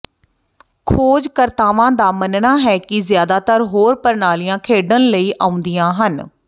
ਖੋਜਕਰਤਾਵਾਂ ਦਾ ਮੰਨਣਾ ਹੈ ਕਿ ਜ਼ਿਆਦਾਤਰ ਹੋਰ ਪ੍ਰਣਾਲੀਆਂ ਖੇਡਣ ਲਈ ਆਉਂਦੀਆਂ ਹਨ